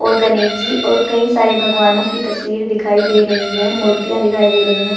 और गणेश जी और कई सारे भगवानों की तस्वीर दिखाई दे रही है मूर्तियां दिखाई दे रही हैं।